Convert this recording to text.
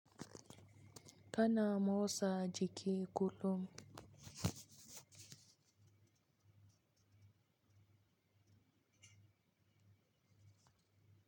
Kana motsa jiki kullum.